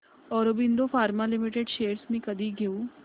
Aurobindo pharma limited shares मी कधी घेऊ